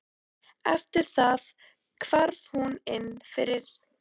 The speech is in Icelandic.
Eftir það hvarf hún inn fyrir á ný.